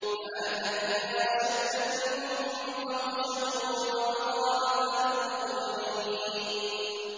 فَأَهْلَكْنَا أَشَدَّ مِنْهُم بَطْشًا وَمَضَىٰ مَثَلُ الْأَوَّلِينَ